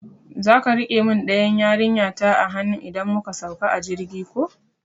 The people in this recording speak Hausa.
Zaka rike mun ɗayan yarinta a hanu idan muka sauka a jirgi ko?